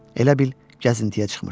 Elə bil gəzintiyə çıxmışdı.